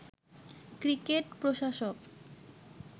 cricket প্রশাসক